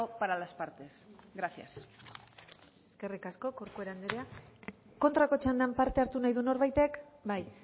para las partes gracias eskerrik asko corcuera andrea kontrako txandan parte hartu nahi du norbaitek bai